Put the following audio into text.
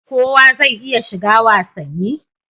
Kowa zai iya shiga wasanni?